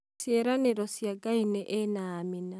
Ciĩranĩro cia Ngai nĩ ĩĩ na Amina.